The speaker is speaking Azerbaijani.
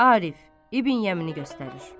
Arif İbn Yəmini göstərir.